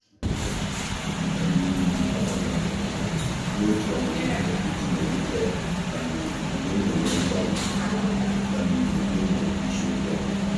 ọ́ um bányèrè n’òtù ọ́mụ́mụ́ ihe iji nọ́gídé um n’ị́nọ́wé mkpali um n’ị́mụ́ isiokwu ọ́hụ́rụ́.